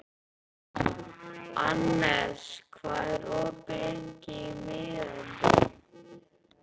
Annes, hvað er opið lengi í Miðeind?